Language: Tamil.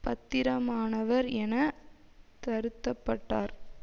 பத்திரமானவர் என தருத்தப்பட்டார்